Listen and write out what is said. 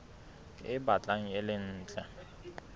e batlang e le ntle